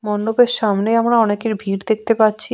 মণ্ডপের সামনে আমরা অনেকের ভিড় দেখতে পাচ্ছি।